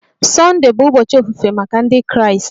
Sunday bụ ụbọchị ofufe maka Ndị Kraịst